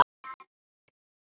Hér er eitt dæmi.